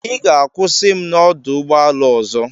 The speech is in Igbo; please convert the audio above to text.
Ị ga-akwụsị m na ọdụ ụgbọ ala ọzọ.